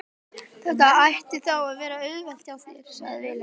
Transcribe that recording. Þetta ætti þá að vera auðvelt hjá þér, sagði Vilhelm.